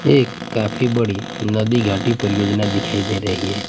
एक काफी बड़ी नदी घाटी परियोजना दिखाई दे रही हैं।